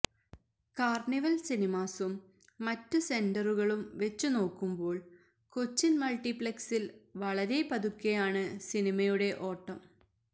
carnival സിനിമാസും മറ്റ് സെന്ററുകളും വെച്ച് നോക്കുമ്പോള് കൊച്ചിന് മള്ട്ടിപ്ലെക്സില് വളരെ പതുക്കെയാണ് സിനിമയുടെ ഓട്ടം